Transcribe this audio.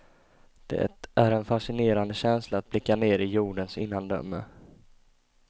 Det är en fascinerande känsla att blicka ner i jordens innandöme.